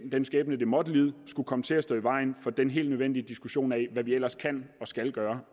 den skæbne det måtte lide skulle komme til at stå i vejen for den helt nødvendige diskussion af hvad vi ellers kan og skal gøre